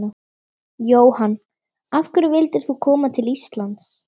Jóhann: Af hverju vildir þú koma til Íslands?